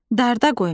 Darda qoymaq.